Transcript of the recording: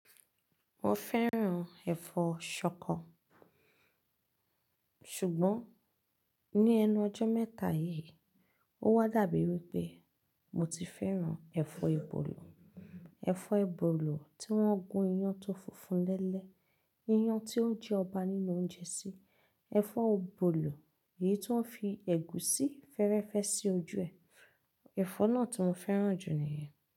Mo fẹ́ràn ẹ̀fọ́ ṣọkọ, ṣùgbọ́n ní ẹnu ọjọ́ mẹ́ta yíì, ó wá dàbí pé mo ti fẹ́ràn ẹ̀fọ́ ebolò. Ẹ̀fọ́ ebolò tí wọ́n gún iyán tó funfun lẹ́lẹ́, iyán tí ó ń jẹ ọba nínú oúnjẹ sí. Ẹ̀fọ́ ebolò èyí tí wọ́n fi ẹ̀gúsí fẹ́rẹ́fẹ́ sí ojú ẹ. Ẹ̀fọ́ náà tí mo fẹ́ràn jù ni ìyẹn.